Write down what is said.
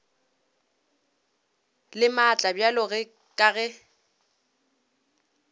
le maatla bjalo ka ge